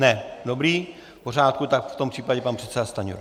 Ne, dobrý, v pořádku, tak v tom případě pan předseda Stanjura.